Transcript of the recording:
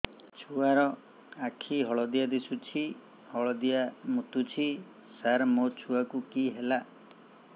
ଛୁଆ ର ଆଖି ହଳଦିଆ ଦିଶୁଛି ହଳଦିଆ ମୁତୁଛି ସାର ମୋ ଛୁଆକୁ କି ହେଲା